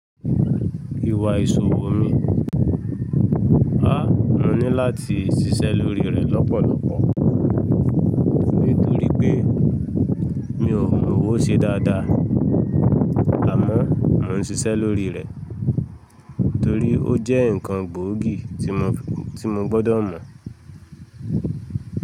Ìwà ìṣòwò mi, a, mo ní láti ṣiṣẹ́ lórí rẹ lọ́pọ̀lọpọ̀ nítorí pé mi ò mówó ṣe dáadáa. Àmọ́ mo ń ṣiṣẹ́ lórí rẹ torí ó jẹ́ ǹkan gbòógì tí mo, tí mo gbọ́dọ̀ mọ̀.